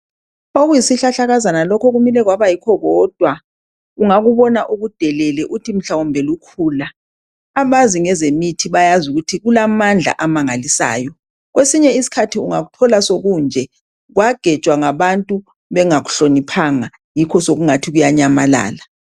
Okuyisihlahlakazana lokhu kumile kwabo kodwa ungakubona ukudelele uthi mhlawumbe lukhula. Abazi ngezemithi bayazi ukuthi kulamadla amangalisayo. Kwesinye isikhathi ungakuthola sokunje kwagejwa ngabantu bengahloniphanga yikho sokungathi kuyanyamalala.